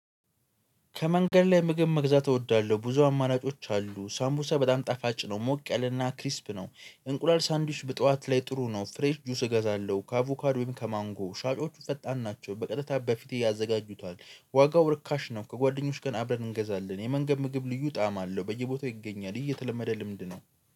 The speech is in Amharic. ከመንገድ ላይ ምግብ መግዛት እወዳለሁ ብዙ አማራጮች አሉ ሳምቡሳ በጣም ጣፋጭ ነው ሞቅ ያለና ክሪስፕ ነው። እንቁላል ሳንድዊሽ በጠዋት ላይ ጥሩ ነው ፍሬሽ ጁስ እገዛለሁ። ከአቮካድ ወይም ከማንጎ ሻጮቹ ፈጣን ናቸው በቀጥታ በፊት ያዘጋጁታል። ዋጋው ርካሽ ነው። ከጓደኞች ጋር አብረን እንገዛለን። የመንገድ ምግብ ልዩ ጣዕም አለው በየቦታው ይገኛል። ይሄ የተለመደ ልምድ ነው